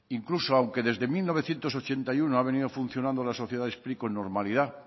incluso aunque desde mil novecientos ochenta y uno ha venido funcionando la sociedad spri con normalidad